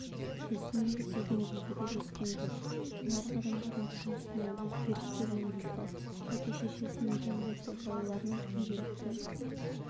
біздің ел бұл деңгейге де жеткен жоқ нарық адамдардың тұрмысына өзгерістер енгізді әке-шешесінің дәулеті балаларының күнделікті